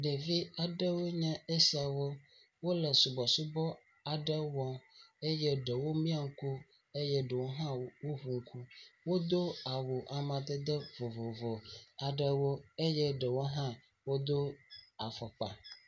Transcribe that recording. Ɖevi aɖewo nye esiawo. Wole subɔsubɔ aɖe wɔm eye ɖewomia ŋku eye ɖewo hã woŋu ŋku. Wodo awu amadede vovovowo aɖewo eye ɖewo hã wodo afɔkpa.